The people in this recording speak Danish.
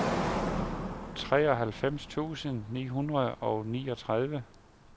treoghalvfems tusind ni hundrede og niogtredive